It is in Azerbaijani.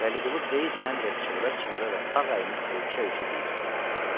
Vəliqulu Qeysləndə və çığıra-çığıra və sağ əlini ölkə-ölkə deyir: